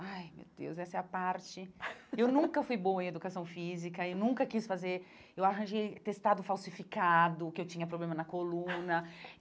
Ai, meu Deus, essa é a parte... Eu nunca fui boa em educação física, eu nunca quis fazer... Eu arranjei atestado falsificado, que eu tinha problema na coluna.